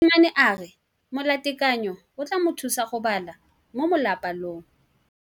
Mosimane a re molatekanyô o tla mo thusa go bala mo molapalong.